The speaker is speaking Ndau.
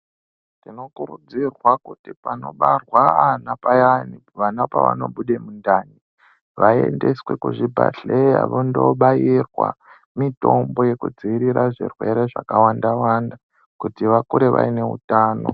Tinokurudzirwa kuti panobarwa ana payani, vana pavanobude mundani vaendeswe kuzvibhedhlera vondobaira mitombo yekudzivirira zvirwere zvakasiyana-siyana kuti vakure vaine utano.